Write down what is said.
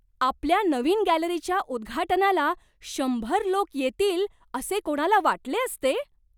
आपल्या नवीन गॅलरीच्या उद्घाटनाला शंभर लोक येतील असे कोणाला वाटले असते?